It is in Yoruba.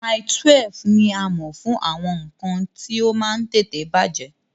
Mile 12 ní a mọ̀ fún àwọn nǹkan tí ó máa ń tètè bàjẹ́